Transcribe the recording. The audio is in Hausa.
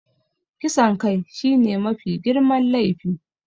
Kisan kai shine mafi girman laifi.